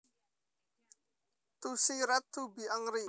to see red to be angry